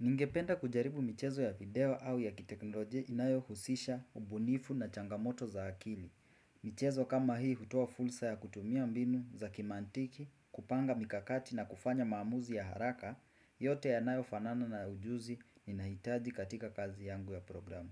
Ningependa kujaribu michezo ya video au ya kiteknoloji inayo husisha, ubunifu na changamoto za akili. Michezo kama hii hutoa fulsa ya kutumia mbinu za kimantiki, kupanga mikakati na kufanya maamuzi ya haraka, yote yanayo fanana na ujuzi ni nahitaji katika kazi yangu ya programu.